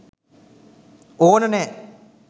ඕන නෑ.